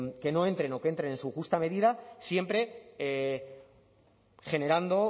que no entren o que entren en su justa medida siempre generando